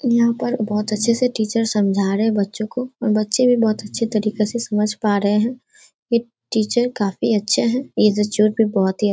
यहाँ पर बोहुत अच्छे से टीचर समझा रहे बच्चों को और बच्चे भी बहुत अच्छे तरीके से समझ पा रहे हैं। ए टीचर काफी अच्छे हैं। ये बहुत ही --